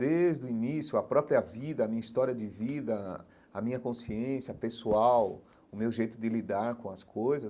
Desde o início, a própria vida, a minha história de vida, a a minha consciência pessoal, o meu jeito de lidar com as coisas,